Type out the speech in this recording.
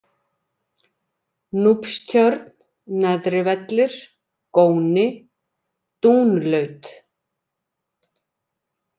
Núpstjörn, Neðri-Vellir, Góni, Dúnlaut